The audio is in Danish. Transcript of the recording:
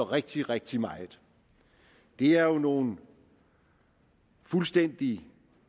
rigtig rigtig meget det er nogle fuldstændig